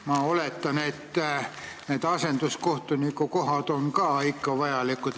Ma oletan, et need asenduskohtuniku kohad on ka ikka vajalikud.